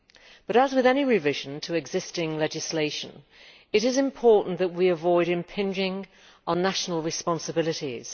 But as with any revision to existing legislation, it is important that we avoid impinging on national responsibilities.